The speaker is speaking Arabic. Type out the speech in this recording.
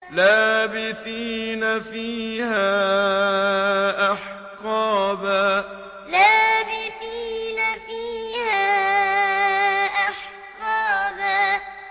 لَّابِثِينَ فِيهَا أَحْقَابًا لَّابِثِينَ فِيهَا أَحْقَابًا